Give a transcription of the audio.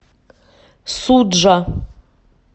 суджа